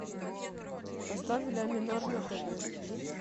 поставь ля минор на тв